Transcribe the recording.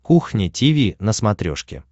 кухня тиви на смотрешке